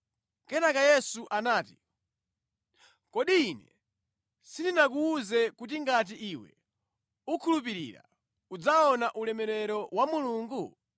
Kenaka Yesu anati, “Kodi Ine sindinakuwuze kuti ngati iwe ukhulupirira, udzaona ulemerero wa Mulungu?”